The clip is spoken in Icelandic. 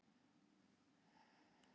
Já, það er til te.